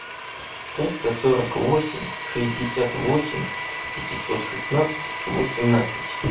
триста сорок восемь шестьдесят восемь пятьсот шестнадцать восемнадцать